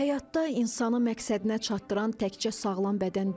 Həyatda insanı məqsədinə çatdıran təkcə sağlam bədən deyil.